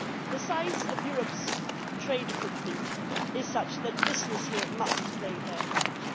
The size of Europe's trade footprint is such that businesses here must play their part.